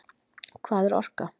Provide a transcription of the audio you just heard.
Hvað er orka?